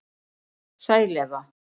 Sæl Eva